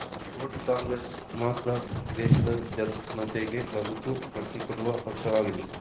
coat Congress ಮಾತ್ರ ದೇಶದ ಜನತೆಗೆ ಬದುಕು ಕಟ್ಟಿಕೊಡುವ ಪಕ್ಷವಾಗಿದೆ